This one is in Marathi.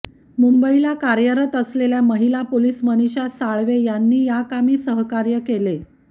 मुंबईला कार्यरत असलेल्या महिला पोलीस मनीषा साळवे यांनी याकामी सहकार्य केले